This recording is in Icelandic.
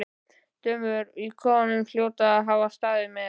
Dömurnar í kofanum hljóta að hafa staðið með